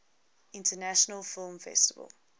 international film festival